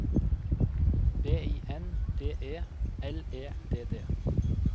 B I N D E L E D D